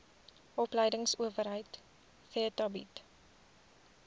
opleidingsowerheid theta bied